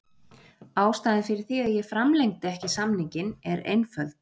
Ástæðan fyrir því að ég framlengdi ekki samninginn er einföld.